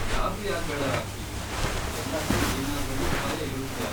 ಗಾಬ್ರಿಯಾಗ್ಬೇಡ, Rocky. ಎಲ್ಲಕ್ಕೂ ಏನಾದ್ರೊಂದು ಉಪಾಯ ಇರುತ್ತೆ.